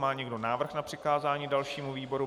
Má někdo návrh na přikázání dalšímu výboru?